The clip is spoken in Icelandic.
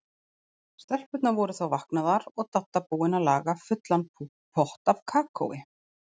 Stelpurnar voru þá vaknaðar og Dadda búin að laga fullan pott af kakói.